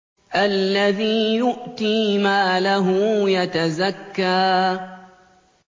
الَّذِي يُؤْتِي مَالَهُ يَتَزَكَّىٰ